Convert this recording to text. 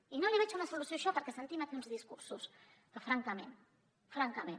i no hi veig una solució perquè sentim aquí uns discursos que francament francament